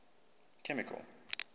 chemical